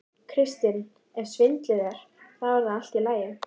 Kristinn: Ef svindlið er. þá er það í lagi?